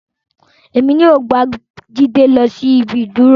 Emi yoo ba Jide lọ si ibi iduro.